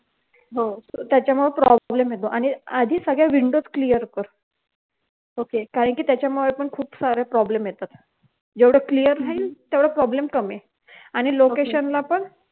त्याच्यामुळे problem येतो आणि सगळ्या windows आधी clear कर okay कारण कि त्याच्यामुळे पण खूप सारे problems येतात जेवढं clear राहील तेवढं problem कमी आणि location ला पण